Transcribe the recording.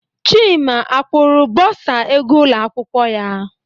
Chima akwụra bursar ego ụlọ akwụkwọ ya?